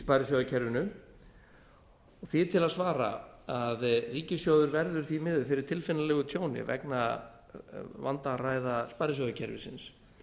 sparisjóðakerfinu því er til að svara að ríkissjóður verður því miður fyrir tilfinnanlegu tjóni vegna vandræða sparisjóðakerfisins